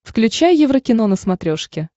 включай еврокино на смотрешке